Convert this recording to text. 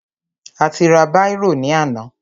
A ti ra bírò ní àná.